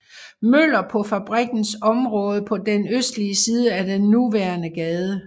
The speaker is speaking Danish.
Møller på fabrikkens område på den østlige side af den nuværende gade